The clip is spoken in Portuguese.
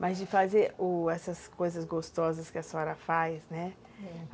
Mas de fazer, u, essas coisas gostosas que a senhora faz, né?